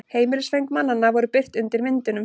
Heimilisföng mannanna voru birt undir myndunum